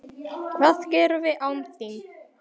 Hvað gerum við án þín?